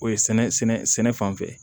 O ye sɛnɛ sɛnɛ sɛnɛ fan fɛ